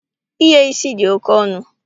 Ighe isi dị oké ọnụ